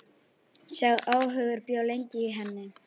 Sá óhugur bjó lengi í henni.